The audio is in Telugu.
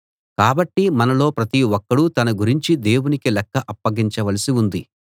కాబట్టి మనలో ప్రతి ఒక్కడూ తన గురించి దేవునికి లెక్క అప్పగించ వలసి ఉంది